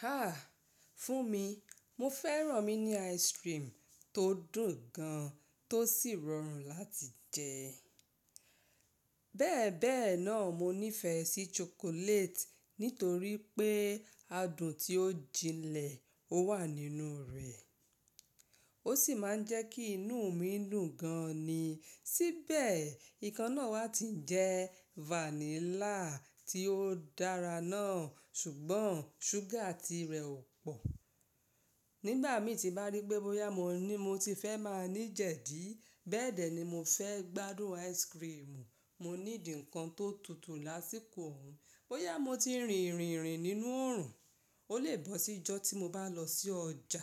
Ha! Fún mi, mo fẹ́ràn míní ice cream tó dùn gan, tó sì rọrùn láti jẹ. Bẹ́ẹ̀ bẹ́ẹ̀ náà, mo nífẹ̀ẹ́ sí chocolate nítorí pé adùn tí ó jinlẹ̀ ó wà nínú rẹ̀, ó sì máa ń jẹ́ kí inú mi dùn gan ni. Síbẹ̀, ikán náà wá ti jẹ́ vanilla tí ó dára náà ṣùgbọ́n ṣúgà ti rẹ̀ ò pọ̀. Nígbà mí tí bá rí pé bóyá mo ní mo ti fẹ́ máa ní jẹ̀dí, bẹ́ẹ̀dẹ́ ni mo fẹ́ gbádùn ice cream. Mo nídi ǹkan tó tutù lásìkò òun. Bóyá mo ti rìn rìnrìn nínú oòrùn, ó lè bọ́ sí ijọ́ tí mo bá lọ sí ọjà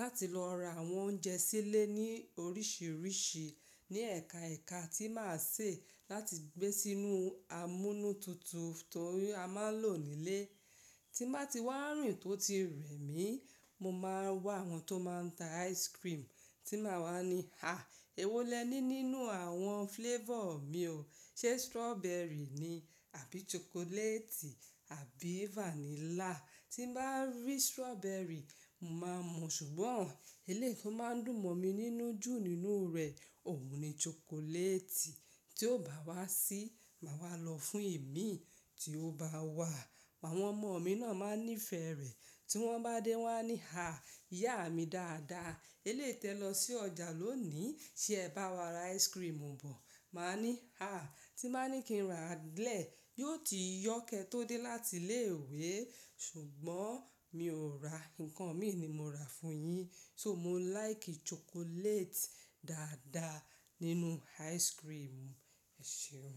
láti lọ ra àwọn oúnjẹ sílé ní oríṣiríṣi ní ẹ̀ka ẹ̀ka tí màá ṣe láti gbé sínú amúnútutù to ri a maa ń lò nílé. Tí màá ti wá rìn tó ti rẹ̀ mí, mo máa wá àwọn tó máa ń ta ice cream tí màá wá ní, "ha! Ewó lẹ ní nínú àwọn flavor mi o. Ṣé strawberry ni àbí chocolate àbí vanilla?" Tí bàá rí strawberry, ma màá mu ṣùgbọ́n eléyi to máa ń dùn mọ̀ mí nínú jù nínú rẹ̀. Òun ni chocolate tí ó bá wá sí, màá wá lọ fún imí tí ó bá wà. Àwọn ọmọ mi náà máa ń nífẹ̀ẹ́ rẹ̀. Tí wọ́n bá dé wá ní, "ha! Ìyá mi dáadáa, eléyi tẹ́ lọ sí ọjà lónìí ṣé ẹ bá wa ra ice cream bọ̀." Màá ní, "ha! Tí bàá ní kí n rà lẹ́ẹ̀, yóò ti yọ́ kẹ̀ tó dé láti ilé ìwé ṣùgbọ́n mi ò ra. Ǹkan mi ni mo rà fún yín." So mo láìkì chocolate dáadáa nínú ice cream. Ẹ ṣeun.